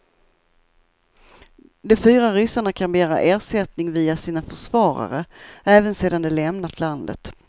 De fyra ryssarna kan begära ersättning via sina försvarare, även sedan de lämnat landet.